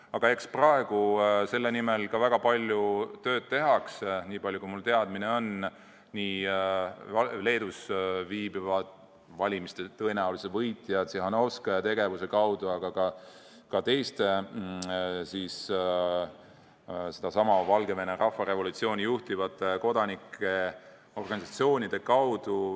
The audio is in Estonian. Aga minu teada praegu tehakse selle nimel väga palju tööd Leedus viibiva valimiste tõenäolise võitja Tihhanovskaja tegevust toetades, aga ka teiste Valgevene rahvarevolutsiooni juhtivate kodanikuorganisatsioonide kaudu.